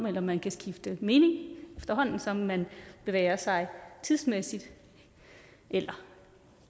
eller man kan skifte mening efterhånden som man bevæger sig tidsmæssigt eller